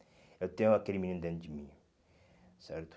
Eu tenho aquele menino dentro de mim, certo?